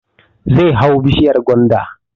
Zai hau bishiyar gwanda